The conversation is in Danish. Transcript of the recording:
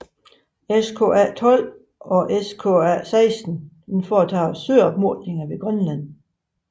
SKA12 og SKA16 foretager søopmåling ved Grønland